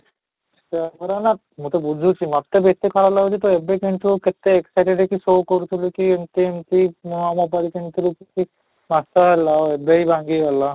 ତ ମୁଁ ତ ବୁଝୁଛି ମୋତେ ବି ଏତେ ଖରାପ ଲାଗୁଛି, ତ ଏବେ କିନ୍ତୁ କେତେ exited ହେଇକି କହୁଥିଲୁ କି ଏମିତି ଏମିତି ନୂଆ mobile କିଣିଲି କି ଚାପ ହେଲା ହୃଦୟ ଭାଙ୍ଗିଗଲା